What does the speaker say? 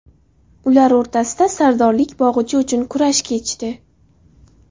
Ular o‘rtasida sardorlik bog‘ichi uchun kurash kechdi.